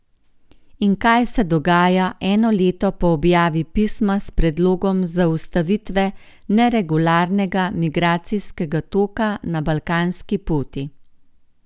In kaj se dogaja eno leto po objavi Pisma s predlogom zaustavitve neregularnega migracijskega toka na balkanski poti?